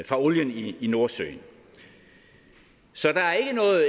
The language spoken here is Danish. fra olien i nordsøen så der er